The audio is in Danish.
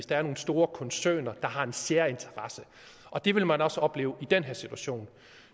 der er nogle store koncerner der har en særinteresse det vil man også opleve i den her situation